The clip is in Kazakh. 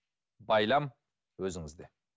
байлам өзіңізде